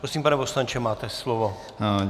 Prosím, pane poslanče, máte slovo.